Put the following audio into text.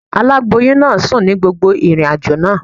Aláboyún náà sùn ní gbogbo ìrìnàjò náà.